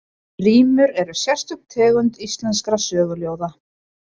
Rímur eru sérstök tegund íslenskra söguljóða.